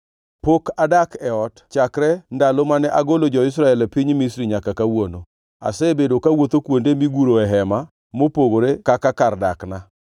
Pok adak e ot chakre ndalo mane agolo jo-Israel e piny Misri nyaka kawuono. Asebedo kawuotho kuonde miguroe hema mopogore kaka kar dakna.